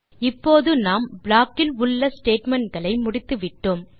இப்போது நாம் ப்ளாக் இல் உள்ள ஸ்டேட்மெண்ட் களை முடித்துவிட்டோம்